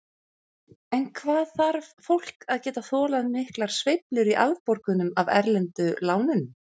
En hvað þarf fólk að geta þolað miklar sveiflur í afborgunum af erlendu lánunum?